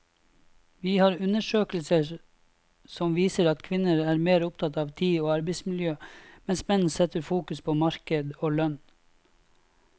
Vi har undersøkelser som viser at kvinner er mer opptatt av tid og arbeidsmiljø, mens menn setter fokus på marked og lønn.